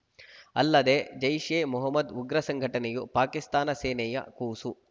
ಅಲ್ಲದೆ ಜೈಷ್‌ ಎ ಮೊಹಮ್ಮದ್‌ ಉಗ್ರ ಸಂಘಟನೆಯು ಪಾಕಿಸ್ತಾನ ಸೇನೆಯ ಕೂಸು